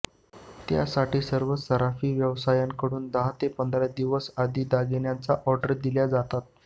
त्यासाठी सर्वच सराफी व्यावसायिकांकडून दहा ते पंधरा दिवस आधी दागिन्यांच्या ऑर्डर दिल्या जातात